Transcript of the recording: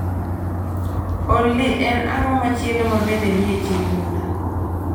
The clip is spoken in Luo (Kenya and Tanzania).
Olly en ang'o machielo ma bende nie chenro na